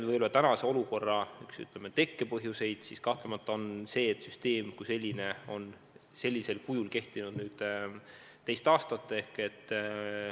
Tänase olukorra üks tekkepõhjuseid kahtlemata on see, et süsteem kui selline on praegusel kujul kehtinud kaks aastat.